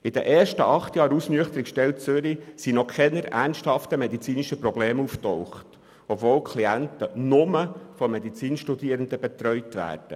In den ersten acht Jahren der Ausnüchterungsstelle in Zürich tauchten keine ernsthaften medizinischen Probleme auf, obwohl die Klienten nur durch Medizinstudierende betreut werden.